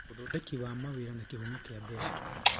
Ũthondeki wa mawĩra na kĩhumo kĩa mbeca